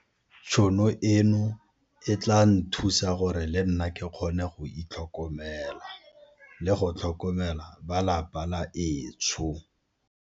Tšhono eno e tla nthusa gore le nna ke kgone go itlhokomela le go tlhokomela ba lapa la etsho.